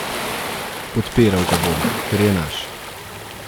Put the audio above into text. Podpiral ga bom, ker je naš.